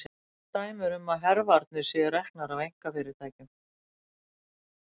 Fá dæmi eru um að hervarnir séu reknar af einkafyrirtækjum.